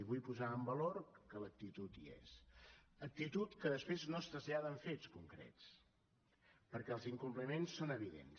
vull posar en valor que l’actitud hi és actitud que després no es trasllada en fets concrets perquè els incompliments són evidents